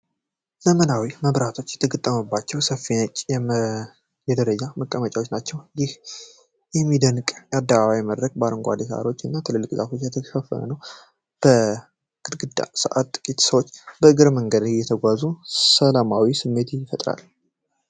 ዘመናዊ መብራቶች የተገጠሙባቸው ሰፊ ነጭ የደረጃ መቀመጫዎች ናቸው። ይህ የሚደነቅ የአደባባይ መድረክ በአረንጓዴ የሳሮች እና በትላልቅ ዛፎች ያሸበረቀ ነው። በድንግዝግዝ ሰዓት፣ ጥቂት ሰዎች በእግረኛው መንገድ እየተጓዙ ሰላማዊ ስሜትን ይፈጥራል።